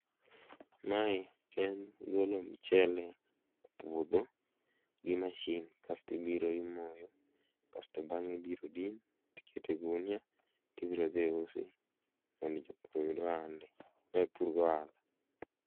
Mae en golo mchele e puodho gi mashin kasto ibiro imoyo kasto bang'e ibiro din tiket e gunia tibiro dhi usi mondo jopur oyud ohala. Ma en pur gi ohala